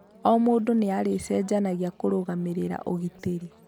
O mũndũ nĩ arĩ cenjanagia kũrũgamĩrĩra ũgitĩri